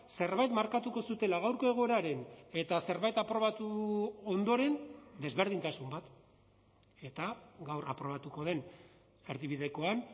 zerbait markatuko zutela gaurko egoeraren eta zerbait aprobatu ondoren desberdintasun bat eta gaur aprobatuko den erdibidekoan